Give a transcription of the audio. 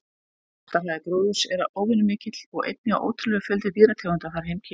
Vaxtarhraði gróðurs er óvenju mikill og einnig á ótrúlegur fjöldi dýrategunda þar heimkynni sín.